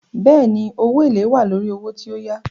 Bẹ́ẹ̀ni, owó èlèé wà lórí owó tí o yá.